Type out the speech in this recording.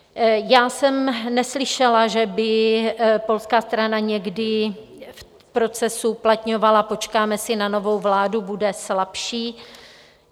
Já jsem neslyšela, že by polská strana někdy v procesu uplatňovala: počkáme si na novou vládu, bude slabší.